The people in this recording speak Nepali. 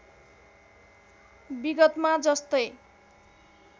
विगतमा जस्तै